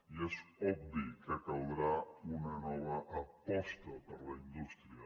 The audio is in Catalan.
i és obvi que caldrà una nova aposta per la indústria